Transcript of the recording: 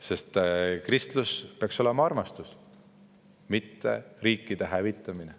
Sest kristlus peaks olema armastus, mitte riikide hävitamine.